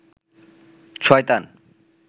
শয়তান